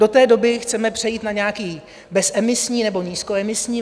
Do té doby chceme přejít na nějaké bezemisní nebo nízkoemisní.